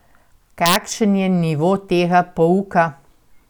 Kakšen je nivo tega pouka?